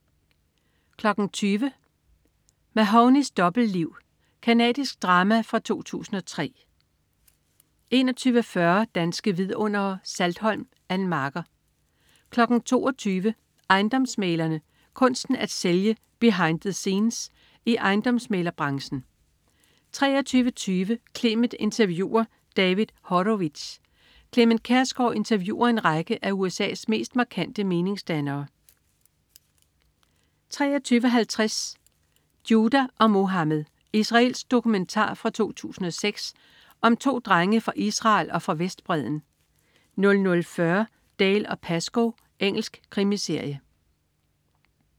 20.00 Mahownys dobbeltliv. Canadisk drama fra 2003 21.40 Danske Vidundere: Saltholm. Ann Marker 22.00 Ejendomsmæglere. Kunsten at sælge. "Behind the scenes" i ejendomsmæglerbranchen 23.20 Clement interviewer David Horowitz. Clement Kjersgaard interviewer en række af USA's mest markante meningsdannere 23.50 Judah og Mohammad. Israelsk dokumentar fra 2006 om 2 drenge fra Israel og fra Vestbredden 00.40 Dalziel & Pascoe. Engelsk krimiserie